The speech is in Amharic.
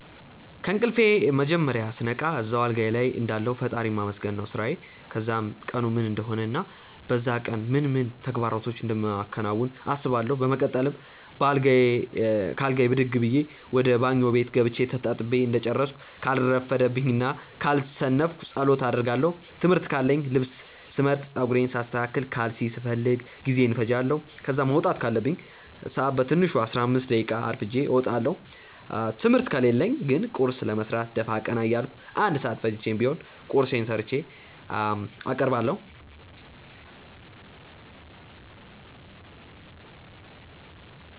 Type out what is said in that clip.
ከእንቅልፌ መጀመርያ ስነቃ እዛው አልጋዬ ልይ እንዳለሁ ፈጣሪን ማመስገን ነው ስራዬ። ከዛም ቀኑ ምን እንደሆነ እና በዛ ቀን ምን ምን ተግባራቶችን እንደማከናውን አስባለው። በመቀጠል ከአልጋዬ ብድግ ብዬ ወደ ባኞ ቤት ገብቼ ተጣጥቤ እንደጨረስኩ ካልረፈደብኝ እና ካልሰነፍኩ ጸሎት አደርጋለው። ትምህርት ካለኝ ልብስ ስመርጥ፣ ጸጉሬን ሳስተካክል፣ ካልሲ ስፈልግ ጊዜዬን እፈጃለው። ከዛ መውጣት ካለብኝ ሰአት በትንሹ 15 ደቂቃ አርፍጄ እወጣለው። ትምህርት ከሌለኝ ግን ቁርስ ለመስራት ደፋ ቀና እያልኩ 1 ሰአት ፈጅቼም ቢሆን ቁርሴን ሰርቼ አቀርባለሁ።